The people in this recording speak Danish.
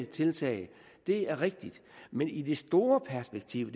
tiltag det er rigtigt men i det store perspektiv